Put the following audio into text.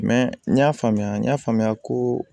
n y'a faamuya n y'a faamuya ko